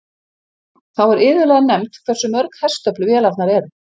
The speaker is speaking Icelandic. Þá er iðulega nefnt hversu mörg hestöfl vélarnar eru.